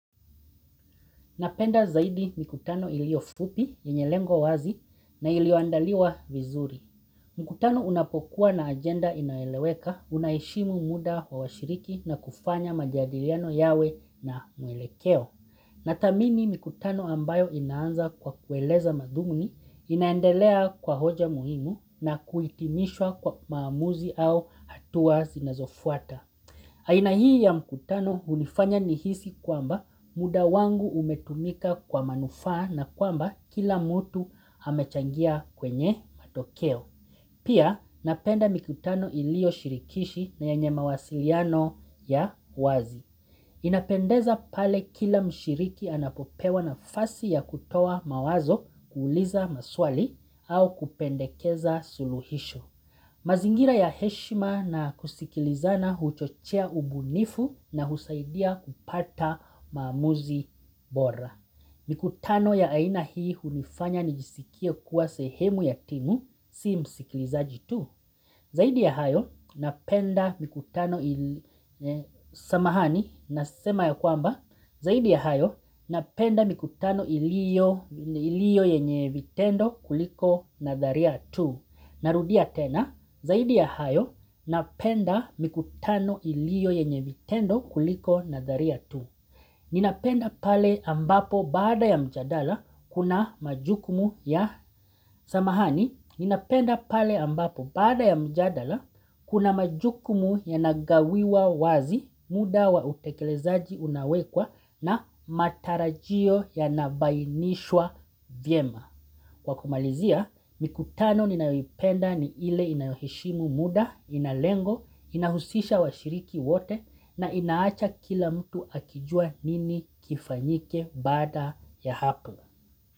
Napenda zaidi mikutano ilio fupi, yenye lengo wazi na ilioandaliwa vizuri. Mkutano unapokuwa na agenda inayoeleweka, unaheshimu muda wa washiriki na kufanya majadiliano yawe na muelekeo. Nathamini mikutano ambayo inaanza kwa kueleza madhumuni, inaendelea kwa hoja muhimu na kuitimishwa kwa maamuzi au hatua zinazofuata. Aina hii ya mkutano hunifanya nihisi kwamba muda wangu umetumika kwa manufaa na kwamba kila mtu amechangia kwenye matokeo. Pia napenda mikutano ilioshirikishi na yenye mawasiliano ya wazi. Inapendeza pale kila mshiriki anapopewa nafasi ya kutoa mawazo kuuliza maswali au kupendekeza suluhisho. Mazingira ya heshima na kusikilizana huchochea ubunifu na husaidia kupata maamuzi bora. Mikutano ya aina hii hunifanya nijisikie kuwa sehemu ya timu si msikilizaji tu. Zaidi ya hayo, napenda mikutano ilio yenye vitendo kuliko nadharia tu. Narudia tena, zaidi ya hayo, napenda mikutano ilio yenye vitendo kuliko nadharia tu. Ninapenda pale ambapo baada ya mjadala kuna majukumu ya samahani. Ninapenda pale ambapo baada ya mjadala kuna majukumu yanagawiwa wazi muda wa utekelezaji unawekwa na matarajio yanabainishwa vyema. Kwa kumalizia, mikutano ninayopenda ni ile inayoheshimu muda, ina lengo, inahusisha washiriki wote na inaacha kila mtu akijua nini kifanyike baada ya hapo.